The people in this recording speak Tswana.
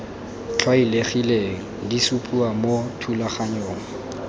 tlwaelegileng di supiwa mo thulaganyong